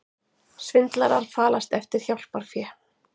Svindlarar falast eftir hjálparfé